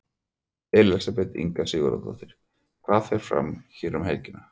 Elísabet Inga Sigurðardóttir: Hvað fer fram hér um helgina?